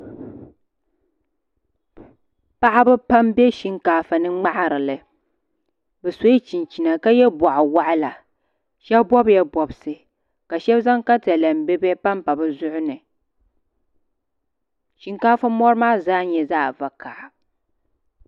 paɣiba pam m-be shinkaafa ni ŋmahiri li bɛ sɔla chinchina ka ye bɔɣiwaɣila shɛba bɔbila bɔbisi ka shɛba zaŋ takalɛm bibihi pampa bɛ zuɣiri ni shinkaafa mɔri maa zaa nyɛla zaɣ' vakaha